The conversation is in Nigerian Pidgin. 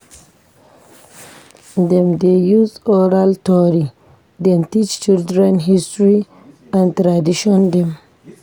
Dem dey use oral tori dem teach children history and tradition dem.